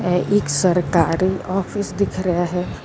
ਇਹ ਇੱਕ ਸਰਕਾਰ ਆਫਿਸ ਦਿਖ ਰਿਹਾ ਹੈ।